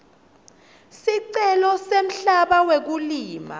sicelo semhlaba wekulima